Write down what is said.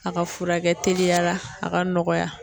A ka furakɛ teliya la a ka nɔgɔya.